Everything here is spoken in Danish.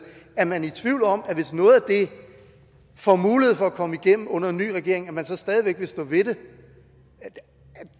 er man i tvivl om at man hvis noget af det får mulighed for at komme igennem under en ny regering stadig væk vil stå ved det